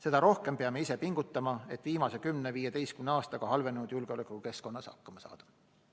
Seda rohkem peame ise pingutama, et viimase 10–15 aastaga halvenenud julgeolekukeskkonnas hakkama saada.